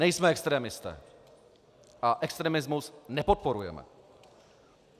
Nejsme extremisté a extremismus nepodporujeme.